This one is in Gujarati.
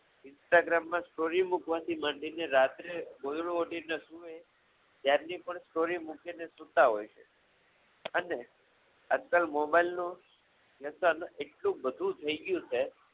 Instagram માં story મુકવાથી માંડીને રાત્રે રાતની પણ story મુકીને સુતા હોય છે અને અત્યારે mobile નો વ્યસન એટલું બધું થઈ ગયું છે કે